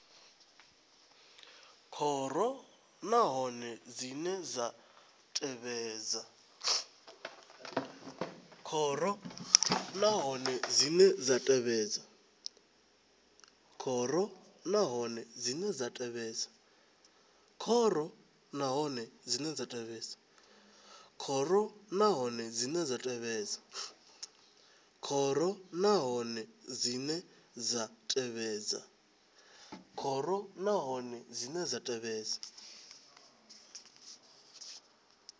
khoro nahone dzine dza tevhedza